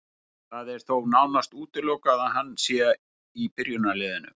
Það er þó nánast útilokað að hann sé í byrjunarliðinu.